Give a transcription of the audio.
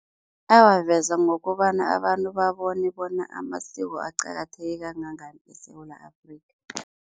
Awaveza ngokobana abantu babone bona amasiko aqakatheke kangangani eSewula Afrika.